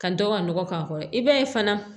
Ka dɔ ka nɔgɔ k'a kɔrɔ i b'a ye fana